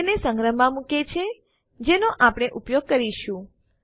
તેને સંગ્રહમાં મુકે છે જેનો આપણે ઉપયોગ કરીશું